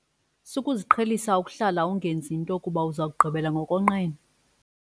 Sukuziqhelisa ukuhlala ungenzi nto kuba uza kugqibela ngokonqena.